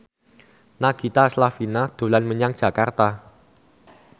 Nagita Slavina dolan menyang Jakarta